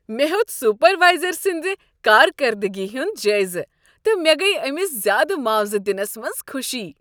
مےٚ ہِیو٘ت سپروائزر سٕنٛز کارکردگی ہنٛد جٲیزٕ تہٕ مےٚ گٔیۍ أمس زیٛادٕ معاوضہٕ دنس منز خوشی۔